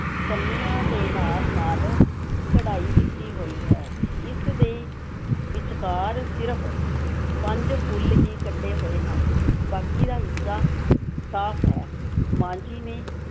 ਕੰਨੀਆਂ ਦੇ ਨਾਲ-ਨਾਲ ਕਢਾਈ ਕੀਤੀ ਹੋਈ ਹੈ, ਇਸ ਦੇ ਵਿਚਕਾਰ ਸਿਰਫ਼ ਪੰਜ ਫੁੱਲ ਹੀ ਕੱਢੇ ਹੋਏ ਹਨ, ਬਾਕੀ ਦਾ ਹਿੱਸਾ ਸਾਫ਼ ਹੈ, ਮਾਂ ਜੀ ਨੇ